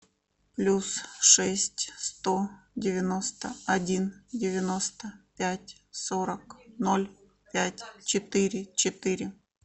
плюс шесть сто девяносто один девяносто пять сорок ноль пять четыре четыре